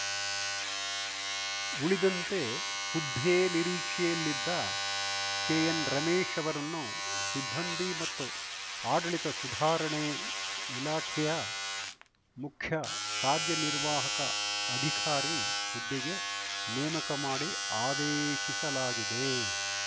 ಉಳಿದಂತೆ ಹುದ್ದೆ ನಿರೀಕ್ಷೆಯಲ್ಲಿದ್ದ ಕೆಎನ್‌ರಮೇಶ್‌ ಅವರನ್ನು ಸಿಬ್ಬಂದಿ ಮತ್ತು ಆಡಳಿತ ಸುಧಾರಣೆ ಇಲಾಖೆಯ ಮುಖ್ಯ ಕಾರ್ಯನಿರ್ವಾಹಕ ಅಧಿಕಾರಿ ಹುದ್ದೆಗೆ ನೇಮಕ ಮಾಡಿ ಆದೇಶಿಸಲಾಗಿದೆ